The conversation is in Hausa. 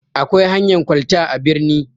Akwai hanyan kwalta a birni.